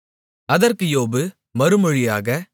அதற்கு யோபு மறுமொழியாக